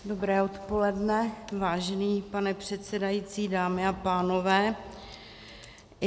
Dobré odpoledne, vážený pane předsedající, dámy a pánové.